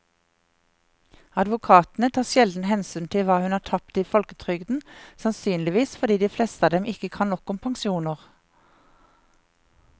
Advokatene tar sjelden hensyn til hva hun har tapt i folketrygden, sannsynligvis fordi de fleste av dem ikke kan nok om pensjoner.